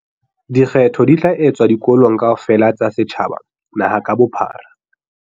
Dikgetho di tla etswa dikolong kaofela tsa setjhaba naha ka bophara.